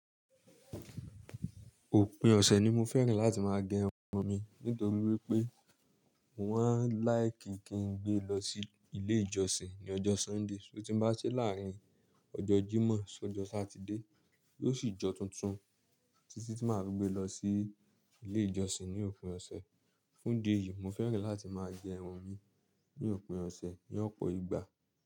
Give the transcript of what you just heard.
Òpin ọ̀sẹ̀ ni mo fẹ́ràn láti máa gẹ irun mi nítorí wípé mo máa ń láìkì kí n gbé lọ sí ilé ìjọsìn ní ọjọ́ Sunday. Só tí bá ṣe láàárín ọjọ́ Jímọ̀ sí ọjọ́ Sátidé, yóò sì jọ tuntun títí tí màá rú gbé lọ sí ilé ìjọsìn ní òpin ọ̀sẹ̀. Fún ìdí èyí mo fẹ́ràn láti máa gẹ irun mi ní òpin ọ̀sẹ̀ ní ọ̀pọ̀ ìgbà.